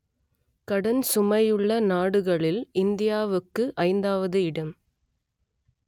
கடன் சுமையுள்ள நாடுகளில் இந்தியாவுக்கு ஐந்தாவது இடம்